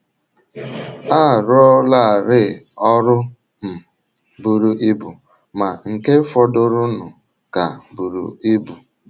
A rụọlarị ọrụ um buru ibu, ma nke fọdụrụnụ ka buru ibu.